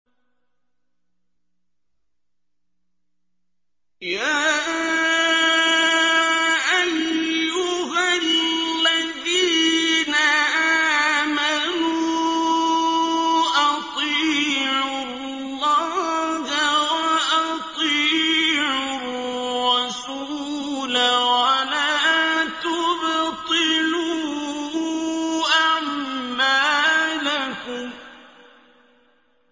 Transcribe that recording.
۞ يَا أَيُّهَا الَّذِينَ آمَنُوا أَطِيعُوا اللَّهَ وَأَطِيعُوا الرَّسُولَ وَلَا تُبْطِلُوا أَعْمَالَكُمْ